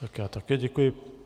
Tak já také děkuji.